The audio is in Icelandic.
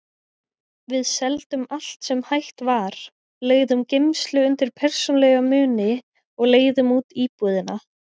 Við seldum allt sem hægt var, leigðum geymslu undir persónulega muni og leigðum út íbúðina.